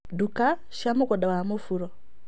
Nduka cia mũgũnda wa mũburo